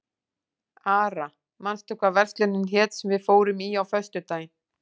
Ara, manstu hvað verslunin hét sem við fórum í á föstudaginn?